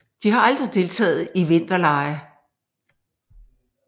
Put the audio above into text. De har aldrig deltagt i vinterlege